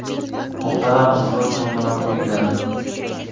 Muhtaram ustoz va murabbiylar!